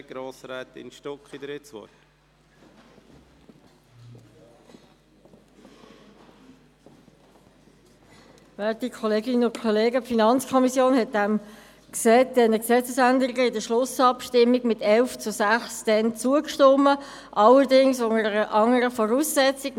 Der BiK ist ein Vergleich zwischen der Durchführung der Kontrollprüfungen und der Prüfungen für die Aufnahme in die Mittelschule bezüglich Verfahren und Gesamtkosten (pro Person) vorzulegen.